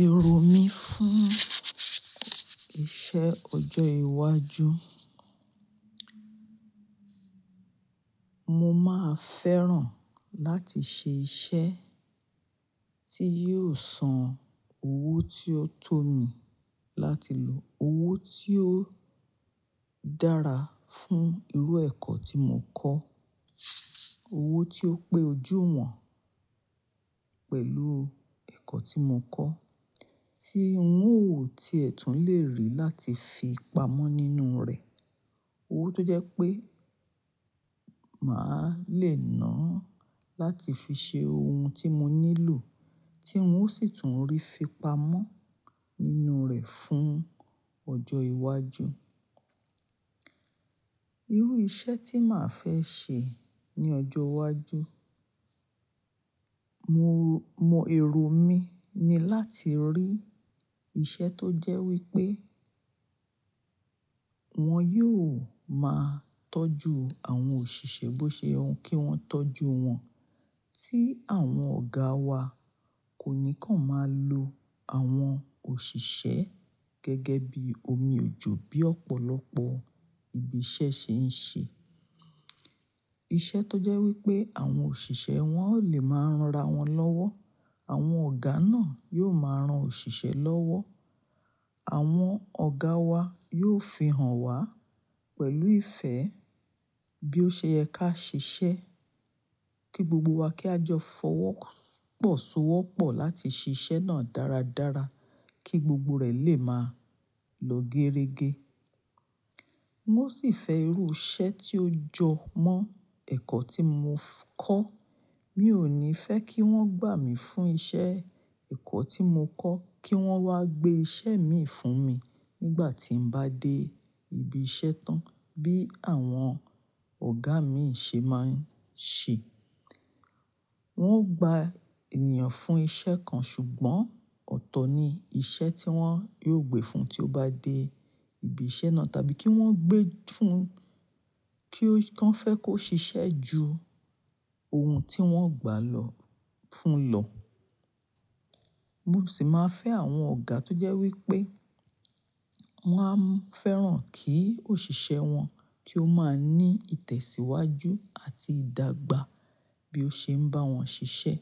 Èrò mí fún iṣẹ́ ọjọ́ iwájú, mo máa fẹ́ràn láti ṣe iṣẹ́ tí yóò san owó tí ó tó mi láti lò, owó tí ó dára fún irú ẹ̀kọ́ tí mo kọ́, owó tí ó pé ojú wọn pẹ̀lú ẹ̀kọ́ tí mo kọ́, tí n óò tí ẹ̀ tún le rí láti fi pamọ́ nínú rẹ̀. Owó tó jẹ́ pé màá le náà láti fi ṣe ohun tí mo nílò tí ń ó sì tún rí fi pamọ́ nínú rẹ̀ fún ọjọ́ iwájú. Irú iṣẹ́ tí màá fẹ́ ṣe ní ọjọ́ iwájú, mo, mo èrò mi ni láti rí iṣẹ́ tó jẹ́ wípé wón yóò máa tọ́jú àwọn òṣìṣẹ́ bó ṣe ye kí wọ́n tọ́jú wọn. Tí àwọn ọ̀gá wa kò níkan máa lo àwọn òṣìṣẹ́ gẹ́gẹ́ bí omi òjò bí ọ̀pọ̀lọpọ̀ ibi iṣẹ́ ṣé ń ṣe. Iṣẹ́ tó jẹ́ wípé àwọn òṣìṣẹ́ wọn le máa ń ranra wọn lọ́wọ́. Àwọn ọ̀gá náà yóò máa ran òṣìṣẹ́ lọ́wọ́. Àwọn ọ̀gáa wa yóò fihàn wá pẹ̀lú ìfẹ́ bí ó ṣe yẹ ká ṣiṣẹ́ kí gbogbo wa kí a jọ fọwọ́ pọ̀ so wọ́pọ̀ láti ṣiṣẹ́ náà dáradára kí gbogbo rẹ̀ lè máa lọ géerege. Wọ́n sì fẹ́ irú iṣẹ́ tí ó jọ mọ́ ẹ̀kọ́ tí mo kọ́. Mi ò ní fẹ́ kí wọ́n gbà mí fún iṣẹ́ ẹ̀kọ́ tí mo kọ́ kí wọ́n wá gbé iṣẹ́ mii fún mi nígbà tí ń bá dé ibi iṣẹ́ tán. Bí àwọn ọ̀gá mii ṣe máa ń ṣe. Wọ́n gba ènìyàn fún iṣẹ́ kan ṣùgbọ́n ọ̀tọ̀ ni iṣẹ́ tí wọ́n yò gbé fun tí ó bá dé ibi iṣẹ́ náà tàbí kí wọ́n gbé e fún kí ó, kí wọ́n fẹ́ kó ṣiṣẹ́ ju ohun tí wọ́n gbà lọ́, fún lọ. Mo sì máa fẹ́ àwọn ọ̀gá tó jẹ́ wípé wọn a fẹ́ràn kí òṣìṣẹ́ wọn kí ó máa ní ìtẹ̀síwájú àti ìdàgbà bí ó ṣe ń bá wọn ṣiṣẹ́.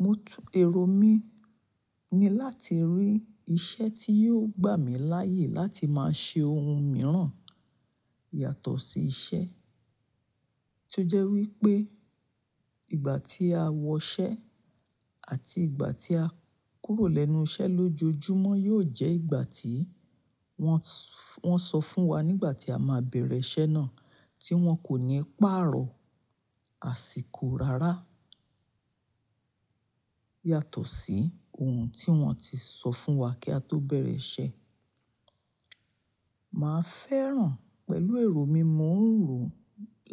Mo tú èrò mi ni láti rí iṣẹ́ tí yóò gbà mí láyè láti máa ṣe ohun mìíràn yàtọ̀ sí iṣẹ́. Tó jẹ́ wípé ìgbà tí a wọ iṣẹ́ àti ìgbà tí a kúrò lẹ́nu iṣẹ́ lójoojúmọ́ yóò jẹ́ ìgbà tí wọ́n, wọ́n sọ fún wa nígbà tí a máa bẹ̀rẹ̀ iṣẹ́ náà tí wọn kò ní pàarọ̀ àsìkò rárá yàtọ̀ sí ohun tí wọn ti sọ fún wa kí a tó bẹ̀rẹ̀ iṣẹ́. Màá fẹ́ràn pẹ̀lú èrò mi mò ń rò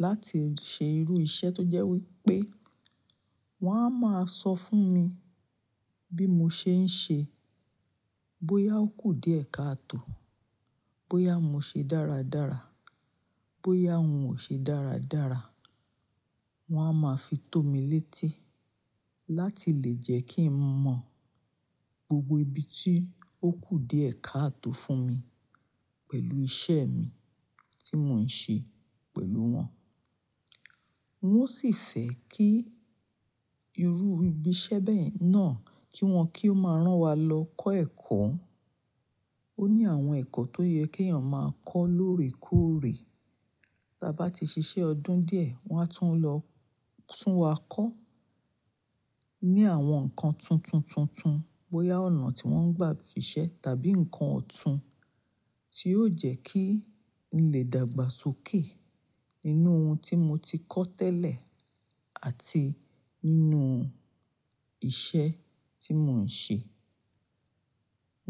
láti ṣe irú iṣẹ́ tó jẹ́ wípé wọn á máa sọ fún mi bí mo ṣe ń ṣe, bóyá ó kù díẹ̀ káàtò, bóyá mo ṣe dáradára, bóyá hun ò ṣe dáradára. Wọn á máa fi tó mi létí láti lè jẹ́ kí n mọ gbogbo ibi tí ó kù díẹ̀ káàtò fún mi pẹ̀lú iṣẹ́ mi tí mò ń ṣe pẹ̀lú wọn. Wọ́n sì fẹ́ kí irú ibi iṣẹ́ bẹ́ẹ̀ náà kí wọn kí ó máa rán wa lọ kọ́ ẹ̀kọ́. Ó ní àwọn ẹ̀kọ́ tó yẹ kí ènìyàn máa kọ́ lóòrèkóòrè. Tí a bá ti ṣiṣẹ́ ọdún díẹ̀ wọn a tún lọ tún wa kọ́ ní àwọn nǹkan tuntun tuntun bóyá ọ̀nà tí wọ́n ń gbà sisẹ́ tàbí ǹkan ọ̀tún tí yóò jẹ́ kí n lè dàgbàsókè nínú ohun tí mo ti kọ́ tẹ́lẹ̀ àti nínú iṣẹ́ tí mò ń ṣe.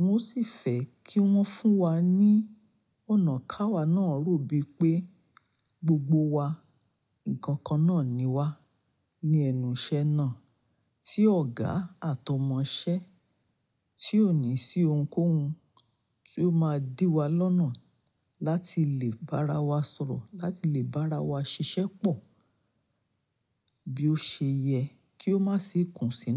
Wọn sì fẹ́ kí wọ́n fún wa ní ọ̀nà káwa náà rú bí pé gbogbo wa, nǹkan kan náà ni wá ní ẹnu iṣẹ́ náà tí ọ̀gá àtọmọṣẹ́ tí ò ní sí ohunkóhun tí ó máa dí wa lọ́nà láti lè bá ara wa sọ̀rọ̀, láti lè bá ara wa ṣiṣẹ́ pọ̀ bí ó ṣe yẹ kí ó má sì kún sinu.